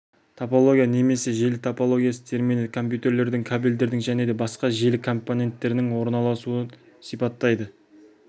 топология немесе желі топологиясы термині компьютерлердің кабельдердің және басқа да желі компоненттерінің орналасуын сипаттайды